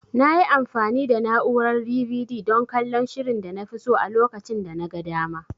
Nayi amfani da na'urar DVD dan kallon shirin danafi so a lokacin danaga dama.